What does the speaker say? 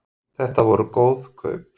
Þetta voru góð kaup